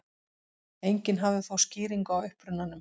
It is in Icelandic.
Enginn hafði þó skýringu á upprunanum.